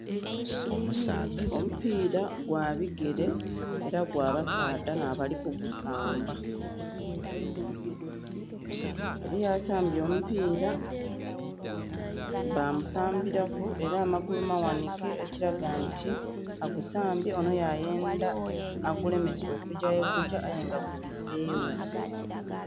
Omupiira gwa bigele ela gwa basaadha nh'abali kugusamba. Eliyo asambye omupiira, bamusambilaku ela amagulu maghanhike ekilaga nti agusambye, onho yayendha agulemese okugya yegugya aye nga gubiseewo.